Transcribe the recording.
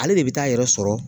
Ale de bi taa yɛrɛ sɔrɔ